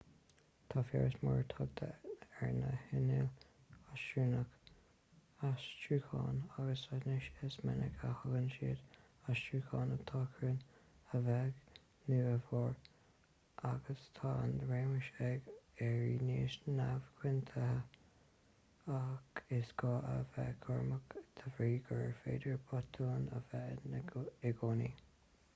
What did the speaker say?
tá feabhas mór tagtha ar na hinnill aistriúcháin agus anois is minic a thugann siad aistriúcháin atá cruinn a bheag nó a mhór agus tá an raiméis ag éirí níos neamhchoitianta ach is gá a bheith cúramach de bhrí gur féidir botúin a bheith ann i gcónaí